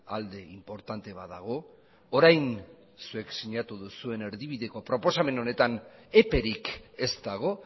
alde inportante bat dago orain zuek sinatu duzuen erdibideko proposamen honetan eperik ez dago